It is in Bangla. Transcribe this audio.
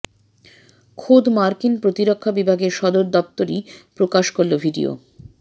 খোদ মার্কিন প্রতিরক্ষা বিভাগের সদর দপ্তরই প্রকাশ করল ভিডিও